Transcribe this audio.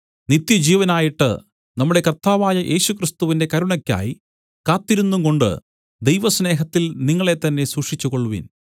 നിത്യജീവനായിട്ട് നമ്മുടെ കർത്താവായ യേശുക്രിസ്തുവിന്റെ കരുണയ്ക്കായി കാത്തിരുന്നുംകൊണ്ട് ദൈവസ്നേഹത്തിൽ നിങ്ങളെത്തന്നെ സൂക്ഷിച്ചുകൊള്ളുവിൻ